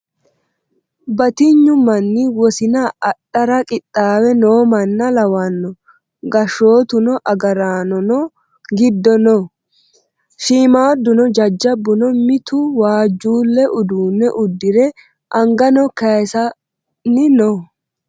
Battinyu manni wosiinna adhdhara qixaawe noo manna lawanno gashshoottu agaraannonno giddo noo , shiimmadunno jajabbunno mittu waajjule uudunne uddire anganno kayiisanni noo